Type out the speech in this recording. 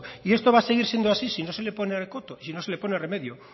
y esto va a seguir siendo así si no se le pone coto y si no se le pone remedio